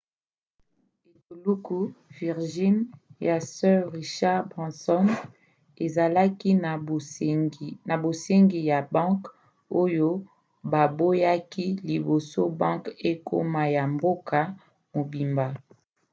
etuluku virgin ya sir richard branson azalaki na bosengi ya banke oyo baboyaki liboso banke ekoma ya mboka mobimba